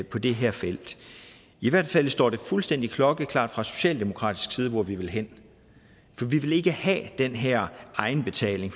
på det her felt i hvert fald står det fuldstændig klokkeklart fra socialdemokratisk side hvor vi vil hen for vi vil ikke have den her egenbetaling